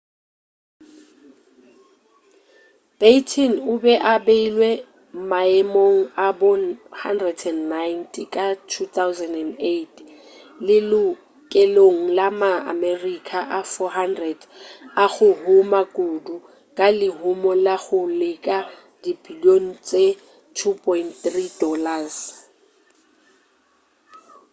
batten o be a beilwe maemong a bo 190 ka 2008 lelokelong la ma-america a 400 a go huma kudu ka lehumo la go leka dibilion tše $2.3